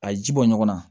A ye ji bɔ ɲɔgɔn na